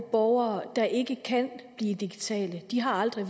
borgere der ikke kan blive digitale de har aldrig